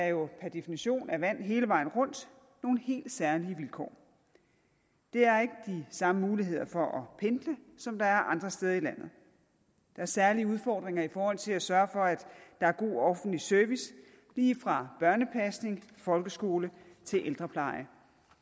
jo per definition er vand hele vejen rundt nogle helt særlige vilkår der er ikke de samme muligheder for at pendle som der er andre steder i landet der er særlige udfordringer i forhold til at sørge for at der er god offentlig service lige fra børnepasning folkeskole til ældrepleje